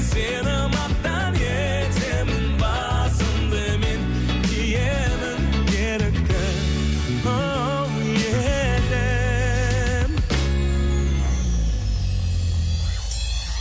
сені мақтан етемін басымды мен иемін ерікті оу елім